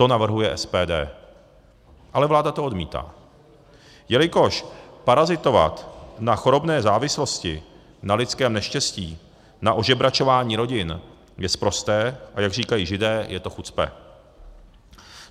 To navrhuje SPD - ale vláda to odmítá - jelikož parazitovat na chorobné závislosti, na lidském neštěstí, na ožebračování rodin je sprosté, a jak říkají Židé, je to chucpe.